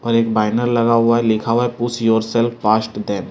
पर एक पाइनर लगा हुआ है लिखा हुआ है पुश योरसेल्फ पास्ट देन --